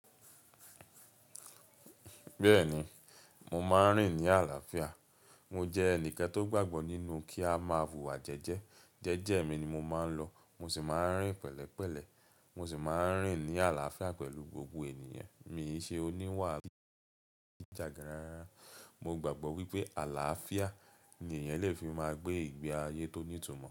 Bẹ́ẹ̀ni, mo máa ń rìn ní àlàáfíà. Mo jẹ́ ẹnìkan tó gbàgbọ́ nínú kí a máa huwà jẹjẹ. Jẹ́jẹ́ mi ni mo máa ń lọ, mo sì máa ń rìn pẹ̀lẹ́pẹ̀lẹ́. Mo sì máa ń rìn ní àlàáfíà pẹ̀lú gbogbo ènìyàn. Mi ò ṣe oníwà ìjàgarán. Mo gbàgbọ́ wípé àlàáfíà ni èèyàn lè fi máa gbé ìgbé ayé tó ní ìtumọ̀